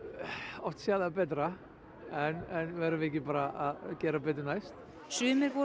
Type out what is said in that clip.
oft séð það betra en verðum við ekki bara að gera betur næst sumir voru